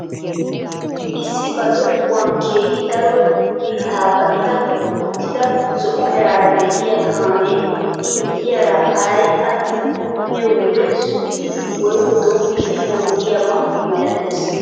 Issi ba zokkuwaan keehi daro biittaa ba'idi uttida zo'o meraara de'iyaa kaamee i miyiyaara haray attin biyoo wode suggidi woykko dom"idi onggiyaaba milatees!